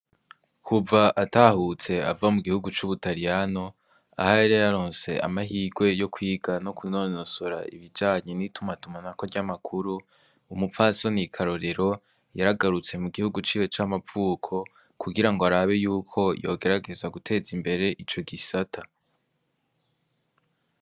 Kuva atahutse ava mu gihugu c'Ubutariyano aho yari yaronse amahirwe yo kwiga no kunonosora ibijanye n'itumatumanako ry'amakuru, umupfasoni Karorero yaragarutse mu gihugu ciwe c'amavuko kugira ngo arabe yuko yogerageza guteza imbere ico gisata.